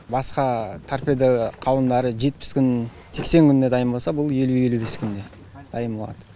басқа торпеда қауындары жетпіс күн сексен күнде дайын болса бұл елу елу бес күнде дайын болады